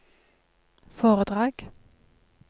foredrag